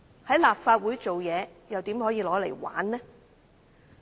在立法會工作，怎可以視之為玩意呢？